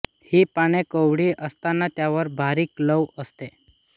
हि पाने कोवळी असताना त्यावर बारीक लव असते